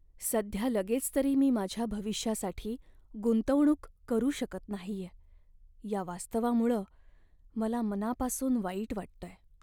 सध्या लगेच तरी मी माझ्या भविष्यासाठी गुंतवणूक करू शकत नाहीये या वास्तवामुळं मला मनापासून वाईट वाटतंय.